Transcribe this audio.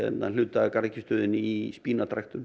hluta af í